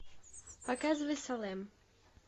показывай салем